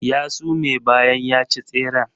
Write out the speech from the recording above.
Ya sume bayan ya ci tseren.